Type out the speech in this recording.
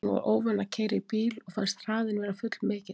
Hún var óvön að keyra í bíl og fannst hraðinn vera full mikill.